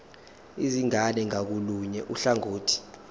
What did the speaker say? izingane ngakolunye uhlangothi